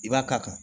I b'a k'a kan